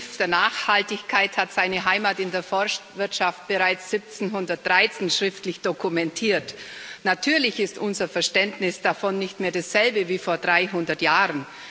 Der Begriff der Nachhaltigkeit hat seine Heimat in der Forstwirtschaft bereits 1713 schriftlich dokumentiert. Natürlich ist unser Verständnis davon nicht mehr dasselbe wie vor 300 Jahren.